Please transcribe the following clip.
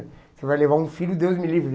Você vai levar um filho, Deus me livre.